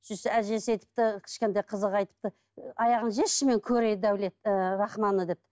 сөйтсе әжесі айтыпты кішкентай қызға айтыпты аяғын шешші мен көрейін ы рахманды деп